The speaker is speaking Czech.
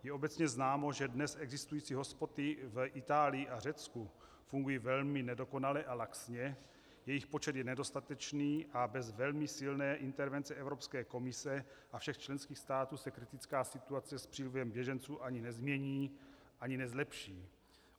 Je obecně známo, že dnes existující hotspoty v Itálii a Řecku fungují velmi nedokonale a laxně, jejich počet je nedostatečný a bez velmi silné intervence Evropské komise a všech členských států se kritická situace s přílivem běženců ani nezmění, ani nezlepší.